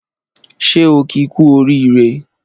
Ṣé o ki ku oriire